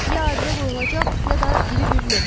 Ya abidə qoyulacaq, ya da iri bir lövhə.